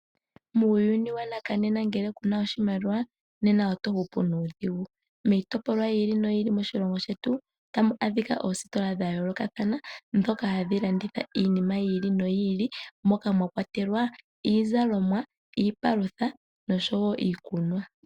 Muuyuni wonena ngele kuna oshimaliwa nena oto hupu nuudhigu miitopolwa yili noyili moshilongo shetu otamu adhika oositola dhayoolokathana ndhoka hadhi landitha iinima yili noyili moka mwa kwatelwa iizalomwa, iipalutha noshowo iikunwa.